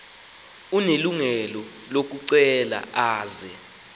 unelungelo lokucela aze